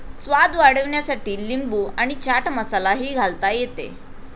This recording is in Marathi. स्वाद वाढविण्यासाठी लिंबू आणि चाट मसाला ही घालता येते.